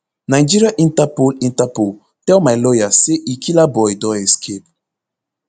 nigeria interpol interpol tell my lawyer say e killaboi don escape